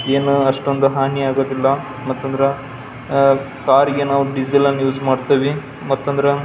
ಏನೋ ಅಷ್ಟೊಂದು ಹಾನಿ ಆಗೋದಿಲ್ಲಾ ಮತಂದ್ರ ಅಹ್ ಕಾರ್ ಗೆ ನಾವು ಡಿಸೇಲ್ ಅನ್ನು ಯೂಸ್ ಮಾಡತ್ತಿವಿ ಮತಂದ್ರ --